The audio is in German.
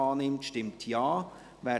I Antrag Grüne [Ammann, Bern])